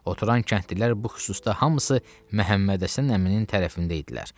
Oturan kəndlilər bu xüsusda hamısı Məhəmməd Həsən əminin tərəfində idilər.